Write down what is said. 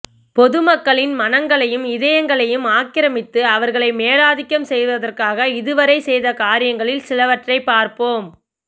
பொதுமக்களின் மனங்களையும் இதயங்களையும் ஆக்கிரமித்து அவர்களை மேலாதிக்கம் செய்வதற்காக இதுவரை செய்த காரியங்களில் சிலவற்றைப் பார்ப்போம்